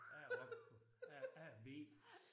Jeg A optager A A og B